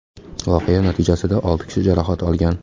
Voqea natijasida olti kishi jarohat olgan.